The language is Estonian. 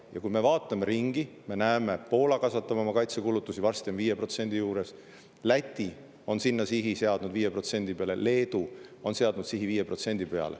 Ja kui me vaatame ringi, siis me näeme, et Poola kasvatab oma kaitsekulutusi, varsti on 5% juures, Läti on seadnud sihi 5% peale, Leedu on seadnud sihi 5% peale.